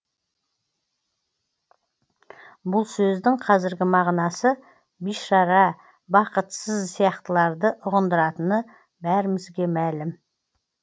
бұл сөздің қазіргі мағынасы бишара бақытсыз сияқтыларды ұғындыратыны бәрімізге мәлім